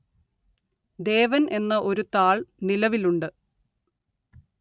ദേവന്‍ എന്ന ഒരു താള്‍ നിലവിലുണ്ട്